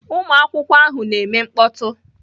Ụmụ akwụkwọ ahụ na-eme mkpọtụ